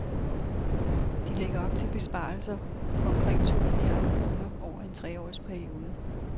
De lægger op til besparelser på omkring to milliarder kroner over en tre års periode.